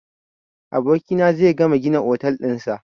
Gobe abokina zai gama gina otel ɗin sa